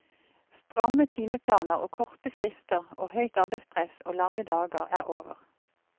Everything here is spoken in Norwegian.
Stramme timeplaner og korte frister og høyt arbeidspress og lange dager er over.